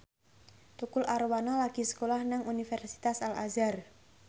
Tukul Arwana lagi sekolah nang Universitas Al Azhar